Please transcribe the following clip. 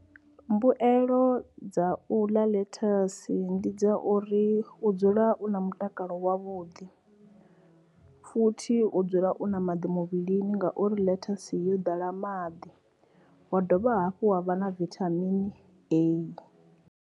Mbuelo dza u ḽa ḽethasi ndi dza uri u dzula u na mutakalo wavhuḓi, futhi u dzula u na maḓi muvhilini ngauri ḽethasi yo ḓala maḓi wa dovha hafhu ha vha na vithamini A.